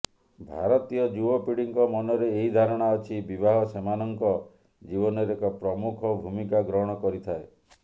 ଭାରତୀୟ ଯୁବପିଢିଙ୍କ ମନରେ ଏହି ଧାରଣା ଅଛି ବିବାହ ସେମାନଙ୍କ ଜୀବନରେ ଏକ ପ୍ରମୁଖ ଭୂମିକା ଗ୍ରହଣ କରିଥାଏ